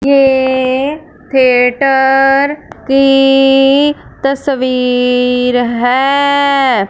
ये थिएटर की तस्वीर है।